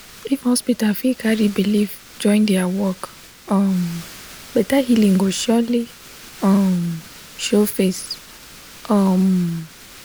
if hospital fit carry people belief join their work um better healing go surely um show face. um